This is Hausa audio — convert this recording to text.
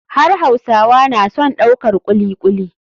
Har hausawa na son daukar kuli kuli.